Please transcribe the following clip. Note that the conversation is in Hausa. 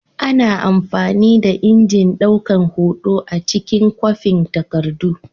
Ana amfani da injin daukan hoto a cikin kwafin takardu.